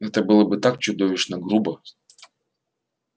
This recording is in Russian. это было бы так чудовищно грубо